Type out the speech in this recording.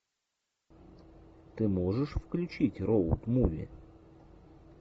ты можешь включить роуд муви